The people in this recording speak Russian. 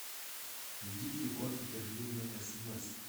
введите код подтверждения смс